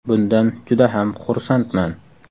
Bundan juda ham xursandman.